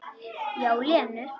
Já, Lenu.